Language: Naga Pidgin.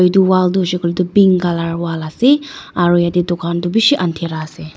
edu wall tu hoishey koilae tu pink colour wall ase aro yatae dukan toh bishi andhira ase.